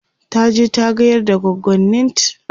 taje ta gayar da goggonint